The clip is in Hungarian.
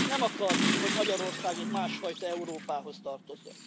Nem akarjuk, hogy Magyarország egy másfajta Európához tartozzon.